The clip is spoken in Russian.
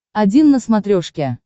один на смотрешке